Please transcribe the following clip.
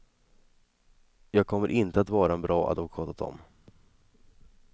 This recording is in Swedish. Jag kommer inte att vara en bra advokat åt dem.